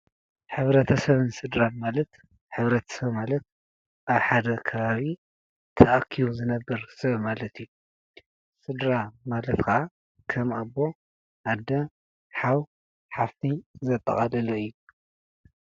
ሕብረተሰብን ስድራ ማለት ሕብረተሰብ ማለት አቡ ሓደ ኸባቢ ተኣኪቡ ዝነብር ሰብ ማለት እዬ። ሰድራ ማለት ኸዓ ከም ኣቦ፣ ኣዶ ፣ ሓው ሐፍቲ ዘጠቃለለ እዪ።